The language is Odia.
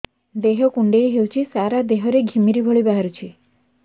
ଦେହ କୁଣ୍ଡେଇ ହେଉଛି ସାରା ଦେହ ରେ ଘିମିରି ଭଳି ବାହାରୁଛି